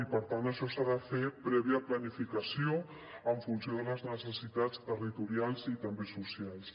i per tant això s’ha de fer prèvia planificació en funció de les necessitats territorials i també socials